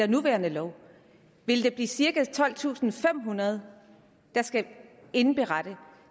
nuværende lov vil der blive cirka tolvtusinde og femhundrede der skal indberette